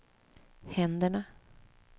händerna